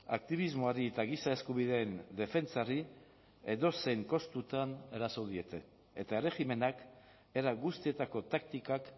aktibismoari eta giza eskubideen defentsari edozein kostutan eraso diete eta erregimenak era guztietako taktikak